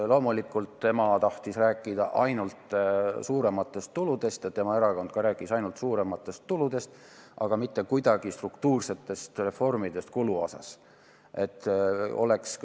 Loomulikult tema tahtis rääkida ainult suurematest tuludest ja tema erakond ka rääkis ainult suurematest tuludest, aga mitte midagi struktuursetest reformidest kulude kavandamisel.